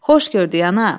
Xoş gördük, ana.